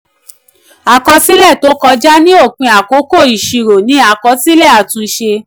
àkọsílẹ̀ tó kọjá ni òpin àkókò ìṣirò ni àkọsílẹ̀ àtúnṣe.